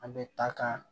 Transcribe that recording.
An bɛ taa ka